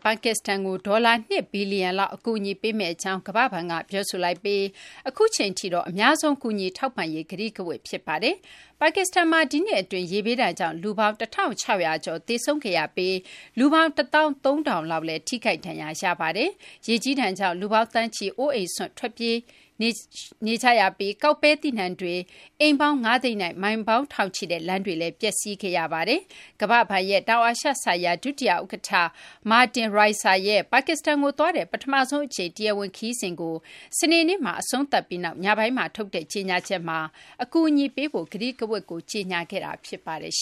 ပါကစ္စတန်ကို ဒေါ်လာ ၂ ဘီလျံ လောက် အကူအညီပေးမယ့် အကြောင်း ကမ ္ဘာ့ဘဏ်က ပြောဆိုလိုက်ပြီး အခုအချိန်ထိတော့ အများဆုံး ကူညီထောက်ပံ့ရေး ကတိကဝတ် ဖြစ်ပါတယ်။ ပါကစ္စတန်မှာ ဒီနှစ် အတွင်း ရေဘေးဒဏ်ကြောင့် လူပေါင်း ၁၆၀၀ ကျော် သေဆုံးခဲရပြီး လူပေါင်း ၁၃၀၀၀ လောက်လည်း ထိခိုက် ဒဏ်ရာ ရခဲ့ပါတယ်။ ရေကြီးဒဏ်ကြောင့် လူပေါင်း သန်းချီ အိုးအိမ်စွန့်ရွှေ့ပြောင်းကြရပြီး ကောက်ပဲသီးနှံတွေ၊ အိမ်ပေါင်း ၅ သိန်းနဲ့ မိုင်ပေါင်းထောင်ချီတဲ့ လမ်းတွေလည်း ပျက်စီးခဲ့ရပါတယ်။ ကမ ္ဘာ့ဘဏ်ရဲ့ တောင်အာရှ ဆိုင်ရာ ဒုတိယ ဥက္ကဌ Martin Raiser ရဲ့ ပါကစ္စတန်ကို သွားတဲ့ ပထမဆုံး အကြိမ် တရားဝင် ခရီးစဉ်ကို စနေနေ့မှာ အဆုံးသတ်ပြီးနောက် ညပိုင်းမှာ ထုတ်တဲ့ ကြေညာချက်မှာ အကူအညီပေးဖို့ ကတိကဝတ်ကို ကြေညာခဲ့တာ ဖြစ်ပါတယ်။